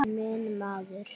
Minn maður.